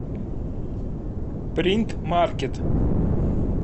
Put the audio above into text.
принт маркет